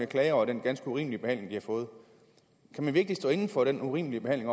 klage over den ganske urimelige behandling de har fået kan man virkelig stå inde for den urimelige behandling